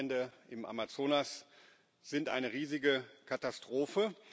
Die Waldbrände im Amazonas sind eine riesige Katastrophe.